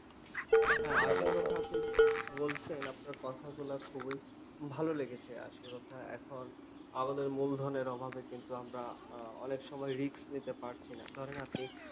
হ্যাঁ আসল কথা আপনি বলছেন। আপনার কথাগুলা খুবই ভালো লেগেছে। আসল কথা এখন আমাদের মূলধনের অভাবে কিন্তু আমরা অনেক সময় risk নিতে পারছি না। ধরেন আপনি